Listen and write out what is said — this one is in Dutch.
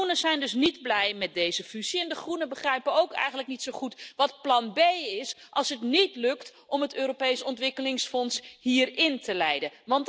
De Groenen zijn dus niet blij met deze fusie en de Groenen begrijpen ook eigenlijk niet zo goed wat plan B is als het niet lukt om het Europees ontwikkelingsfonds hierin te leiden.